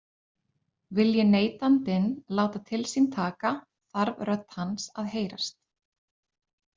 Vilji neytandinn láta til sín taka þarf rödd hans að heyrast.